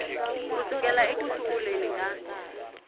ku sukela eku sunguleni ka